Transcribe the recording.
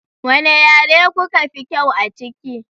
Wane yare kuka fi kyau a ciki?